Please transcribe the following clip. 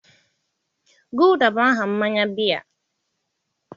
Guulda bụ aha mmanya biya.